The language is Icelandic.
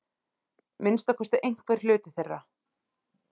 Minnsta kosti einhver hluti þeirra.